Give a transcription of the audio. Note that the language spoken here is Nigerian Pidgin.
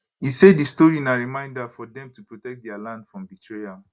e say di story na reminder for dem to protect dia land from betrayal